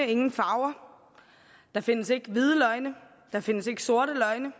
ingen farver der findes ikke hvide løgne der findes ikke sorte løgne